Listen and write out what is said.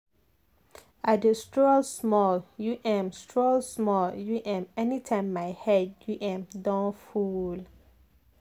i dey stroll small u m stroll small u m anytime my head u m don full.